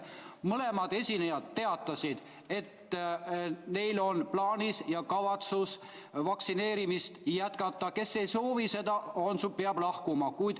Mõlemad esinejad teatasid, et neil on plaanis vaktsineerimist jätkata – kes seda ei soovi, see peab lahkuma.